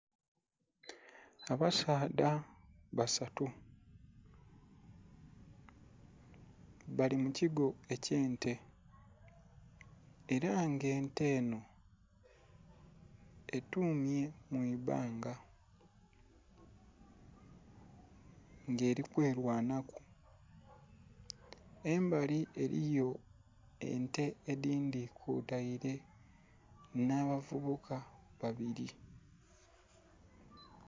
Abasaadha basatu bali mukigo ekyente era nga ente enho etumye mwiibbaga nga eri kwerwanhaku. Embali eriyo ente edhindhi kwoteire nhaba vubuka babiri